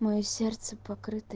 моё сердце покрыто